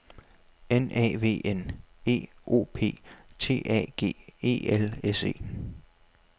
N A V N E O P T A G E L S E